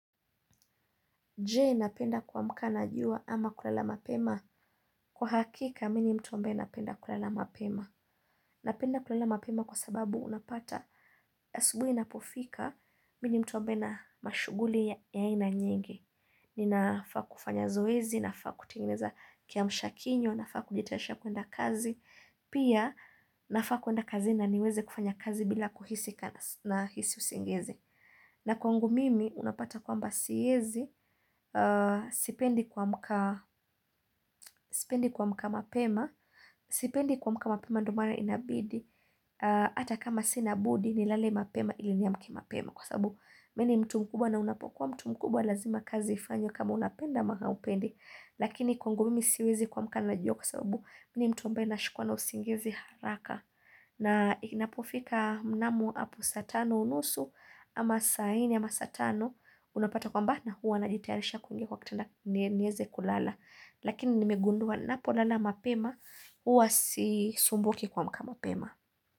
Je, napenda kuamka na jua ama kulala mapema? Kwa hakika, mimi ni mtu ambae napenda kulala mapema. Napenda kulala mapema kwa sababu unapata ya asubuhi inapofika, mimi ni mtu ambae na mashuguli ya aina nyingi. Ni nafaa kufanya zoezi, nafaa kutengeneza kiamsha kinywa, nafaa kujitayarisha kuenda kazi. Pia, nafaa kuenda kazi na niweze kufanya kazi bila kuhisi na hisi usingizi. Na kwangu mimi unapata kwamba siezi, sipendi kuamka mapema, sipendi kuamka mapema ndio maana inabidi, ata kama sina budi nilale mapema ili niame mapema kwa sababu mi ni mtu mkubwa na unapokuwa mtu mkubwa lazima kazi ifanywa kama unapenda ama haupendi. Lakini kwangu mimi siwezi kuamka na na jua kwa sababu mini mtu ambae nashikwa na usingizi haraka. Na inapofika mnamo apo saatano unusu ama saa ine ama saa tano unapata kwamba na huwa najitayarisha kuingia kwa kitanda nieze kulala. Lakini nimegundua napolala mapema huwa si sumbuki kuamka mapema.